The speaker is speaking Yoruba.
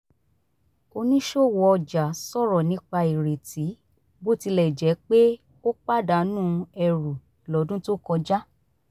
oníṣòwò ọjà sọ̀rọ̀ nípa ireti bó tilẹ̀ jẹ́ pé ó pàdánù ẹrù lọ́dún tó kọjá